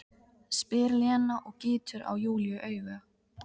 spyr Lena og gýtur á Júlíu auga.